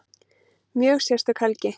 Mjög sérstök helgi